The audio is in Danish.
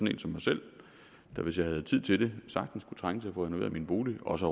en som mig selv der hvis jeg havde tid til det sagtens kunne trænge til at få renoveret min bolig og også